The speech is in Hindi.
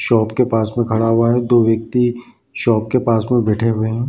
शॉप के पास में खड़ा हुआ है दो व्यक्ति शॉप के पास में बैठे हुए हैं।